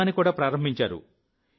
ఉద్యమాన్ని కూడా ప్రారంభించారు